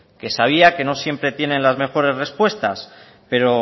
que sabía que no siempre tienen las mejores respuestas pero